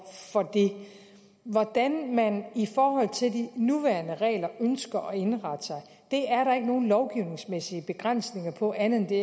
det hvordan man i forhold til de nuværende regler ønsker at indrette sig er der ikke nogen lovgivningsmæssige begrænsninger på andet end det